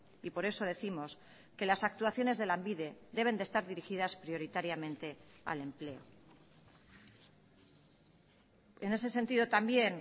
y por eso décimos que las actuaciones de lanbide deben de estar dirigidas prioritariamente al empleo en ese sentido también